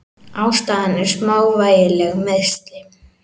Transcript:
Ástæðan er smávægileg meiðsli.